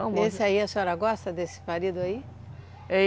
Esse aí, a senhora gosta desse marido aí?